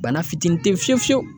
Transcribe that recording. Bana fitinin te yen fiye fiye fiyewu.